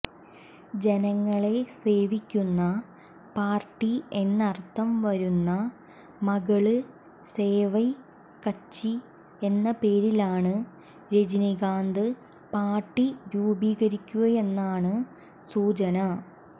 ജനങ്ങളെ സേവിക്കുന്ന പാര്ട്ടി എന്നര്ഥം വരുന്ന മക്കള് സേവൈ കച്ചി എന്ന പേരിലാണ് രജനീകാന്ത് പാര്ട്ടി രൂപീകരിക്കുകയെന്നാണ് സൂചന